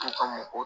To ka mɔgɔ